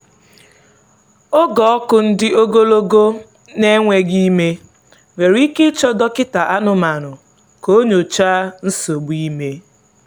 oge ọkụ ndi-ogologo na-enweghị ime nwere ike ịchọ dọkịta anụmanụ ka o nyochaa nsogbu ime.